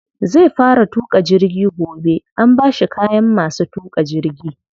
Zai fara tuƙa jirgi gobe, an bashi kayan masu tuƙa jirgi.